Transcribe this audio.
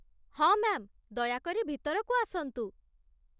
ହଁ, ମ୍ୟା'ମ୍, ଦୟାକରି ଭିତରକୁ ଆସନ୍ତୁ।